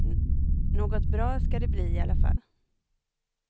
Något bra ska det bli i alla fall.